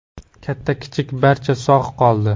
Katta-kichik, barcha sog‘ qoldi.